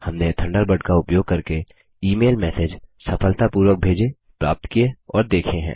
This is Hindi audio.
हमने थंडरबर्ड का उपयोग करके ईमेल मैसेज सफलतापूर्वक भेजे प्राप्त किए और देखे हैं